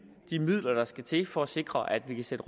de midler der skal til for at sikre at vi kan sætte